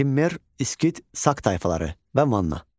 Kimmer, İskit, Sak tayfaları və Manna.